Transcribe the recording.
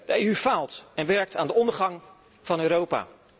De EU faalt en werkt aan de ondergang van Europa.